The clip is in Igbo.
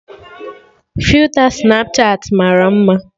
Filta Snapchatị mara mma